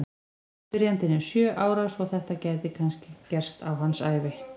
Spyrjandinn er sjö ára svo að þetta gæti kannski gerst á hans ævi!